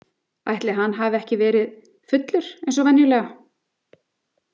Ætli hann hafi ekki verið fullur eins og venjulega?